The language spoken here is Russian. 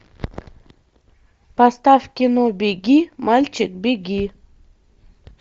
поставь кино беги мальчик беги